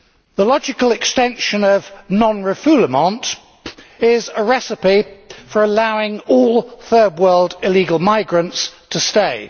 The logical extension of non refoulement is a recipe for allowing all Third World illegal migrants to stay.